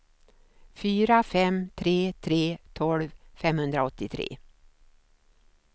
fyra fem tre tre tolv femhundraåttiotre